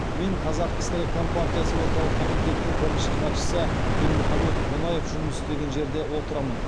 мен қазақ кср компартиясы орталық комитетінің бірінші хатшысы дінмұхаммед қонаев жұмыс істеген жерде отырамын